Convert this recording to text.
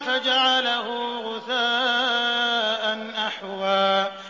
فَجَعَلَهُ غُثَاءً أَحْوَىٰ